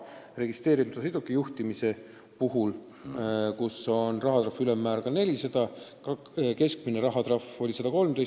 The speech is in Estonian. Registreerimata sõiduki juhtimise eest on rahatrahvi ülemmäär ka 400 eurot, aga keskmine määratud trahv on olnud 113 eurot.